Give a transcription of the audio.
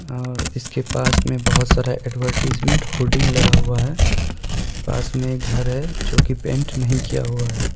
और इसके पास में बहोत सारे एडवरटीजमेंट होर्डिंग लगा हुआ है पास में ये घर है जो की पेंट नहीं किया हुआ है।